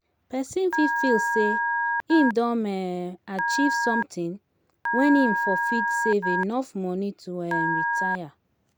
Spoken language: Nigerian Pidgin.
person fit feel sey im don um achieve something when im fon fit save enough money to um retire